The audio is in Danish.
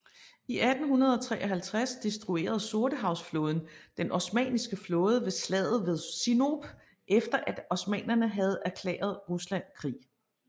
I 1853 destruerede Sortehavsflåden den osmanniske flåde ved slaget ved Sinope efter at osmannerne havde erklæret Rusland krig